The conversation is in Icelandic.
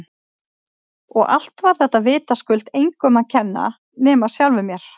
Og allt var þetta vitaskuld engum að kenna nema sjálfum mér!